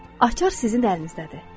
Açar sizin əlinizdədir.